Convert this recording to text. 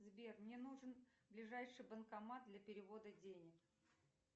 сбер мне нужен ближайший банкомат для перевода денег